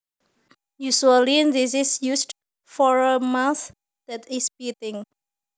Usually this is used for a mouth that is biting